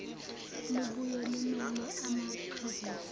lubuye lumele amaprovinsi